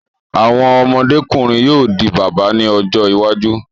Àwọn ọmọdé-kùnrin yóò di bàbá ní ọjọ́ iwájú.